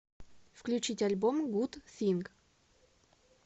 включить альбом гуд синг